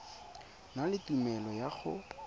na le tumelelo ya go